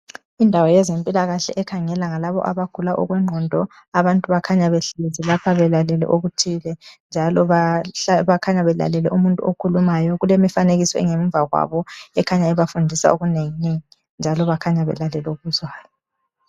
Indawo ezempilakahle labo abakhangela ngabagula okwengqondo abantu bakhanya behlezi belalele okuthile njalo bakhanya belalele umuntu okhulumayo kulemifanekiso engemva kwabo ekhanya ebafundisa izinto ezinenginengi njalo bakhanya belalele okuzwayo.